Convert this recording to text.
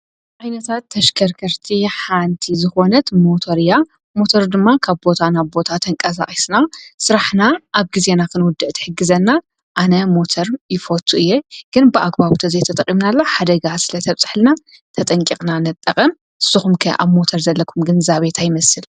ኣይነታት ተሽከርከርቲ ሓንቲ ዝኾነት ሞተር እያ ሞተር ድማ ካብ ቦታ ናቦታ ተንቀሣኣስና ሥራሕና ኣብ ጊዜና ኽንወድ ቲሕግዘና ኣነ ሞተር ይፈቱ እየ ግን ብኣግባውተ ዘተጠቒምናላ ሓደጋ ስለ ተብጽሕልና ተጠንቅቕና ነጠቐ ስኹምከ ኣብ ሞተር ዘለኩምግን ዛቤት ኣይመስል